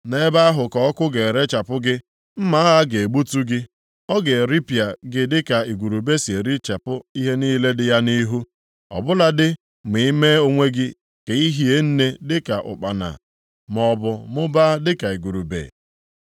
Nʼebe ahụ ka ọkụ ga-erechapụ gị, mma agha ga-egbutu gị. Ọ ga-eripịa gị dịka igurube si erichapụ ihe niile dị ya nʼihu. Ọ bụladị ma i mee onwe gị ka i hie nne dịka ụkpana, maọbụ mụbaa dịka igurube.